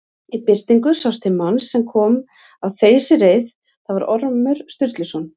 Í birtingu sást til manns sem kom á þeysireið, það var Ormur Sturluson.